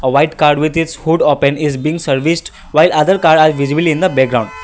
a white car with his food open is being serviced while other car are visibilly in the background.